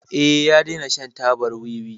Eh, ya dena shan tabar wiwi.